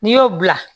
N'i y'o bila